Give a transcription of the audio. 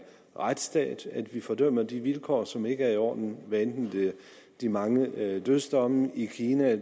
retsstat vi fordømmer de vilkår som ikke er i orden hvad enten det er de mange dødsdomme i kina